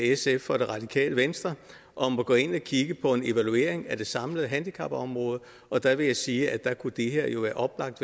sf og det radikale venstre om at gå ind og kigge på en evaluering af det samlede handicapområde og der vil jeg sige at det her jo oplagt